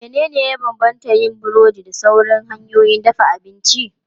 Menene ya bambanta yin burodi da sauran hanyoyin dafa abinci?